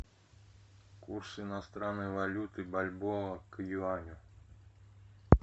курс иностранной валюты бальбоа к юаню